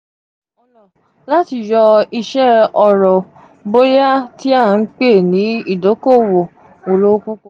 lati yo ise oro boya ti a n pe ni idokowo olo